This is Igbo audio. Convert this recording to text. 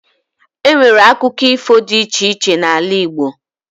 Enwere akụkọ ifo dị iche iche n'ala igbo